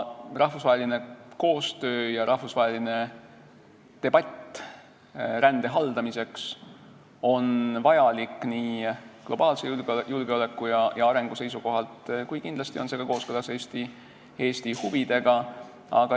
Rahvusvaheline koostöö ja rahvusvaheline debatt rände haldamiseks on vajalikud globaalse julgeoleku ja arengu seisukohalt, kuid kindlasti on need kooskõlas ka Eesti huvidega.